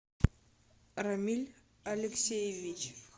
рамиль алексеевич